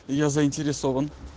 я заинтересован